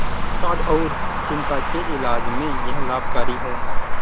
अवसाद और चिंता के इलाज में यह लाभकारी है